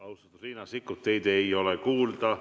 Austatud, Riina Sikkut, teid ei ole kuulda.